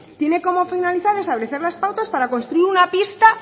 tiene como finalidad establecer las pautas para construir una pista